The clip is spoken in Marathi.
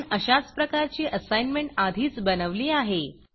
आपण अशाच प्रकारची असाईनमेंट आधीच बनवली आहे